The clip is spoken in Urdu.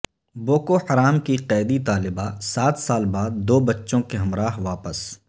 بوکو حرام کی قیدی طالبہ سات سال بعد دو بچوں کے ہمراہ واپس